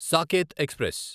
Saketh express